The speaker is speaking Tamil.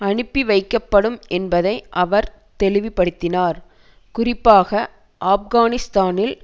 அனுப்பிவைக்கப்படும் என்பதை அவர் தெளிவுபடுத்தினார் குறிப்பாக ஆப்கானிஸ்தானில்